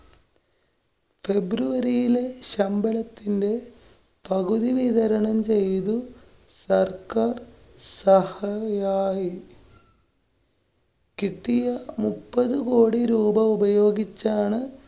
february യിലെ ശമ്പളത്തിന്റെ പകുതി വിതരണം ചെയ്ത് സര്‍ക്കാര്‍ സഹയായി കിട്ടിയ മുപ്പതു കോടി രൂപ ഉപയോഗിച്ചാണ്‌